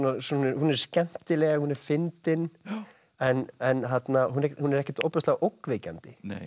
hún er skemmtileg fyndin en en hún hún er ekkert ofboðslega ógnvekjandi